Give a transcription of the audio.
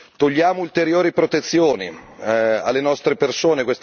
Togliamo ulteriori protezioni alle nostre persone.